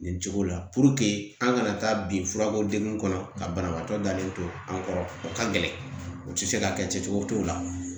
Nin cogo la an kana taa bi furako dege kɔnɔ ka banabaatɔ dalen to an kɔrɔ u ka gɛlɛn u tɛ se ka kɛ cogo o cogo la